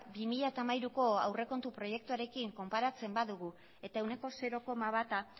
bi mila hamairuko aurrekontu proiektuarekin konparatzen badugu eta ehuneko zero koma bata